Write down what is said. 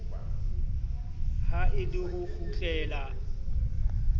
ha e le ho kgutlela